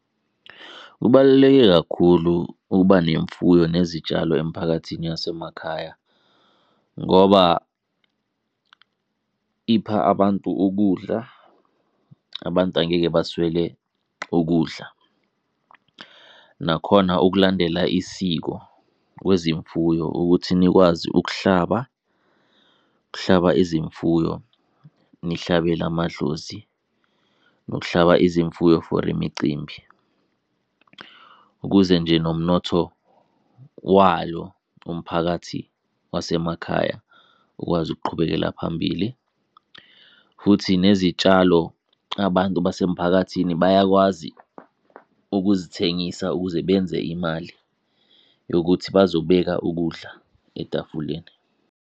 Kubaluleke kakhulu ukuba nemfuyo nezitshalo emiphakathini yasemakhaya ngoba ipha abantu ukudla, abantu angeke baswele ukudla. Nakhona ukulandela isiko kwezimfuyo, ukuthi nikwazi ukuhlaba, ukuhlaba izimfuyo nihlabele amadlozi, nokuhlaba izimfuyo for imicimbi ukuze nje nomnotho wayo umphakathi wasemakhaya ukwazi ukuqhubekela phambili. Futhi nezitshalo, abantu basemphakathini bayakwazi ukuzithengisa ukuze benze imali yokuthi bazobeka ukudla etafuleni.